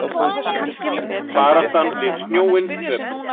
Baráttan við snjóinn töpuð